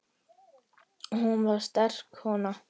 Hún var sterk kona.